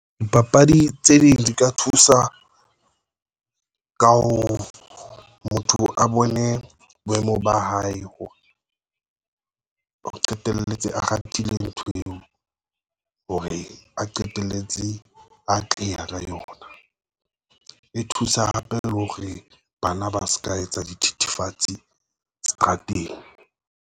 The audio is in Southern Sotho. Dipapadi tse ding di ka thusa ka ho motho a bone boemo ba hae hore o qetelletse a ratile ntho eo hore a qetelletse atleha ka yona. E thusa hape le hore bana ba se ka etsa di thithifatse seterateng.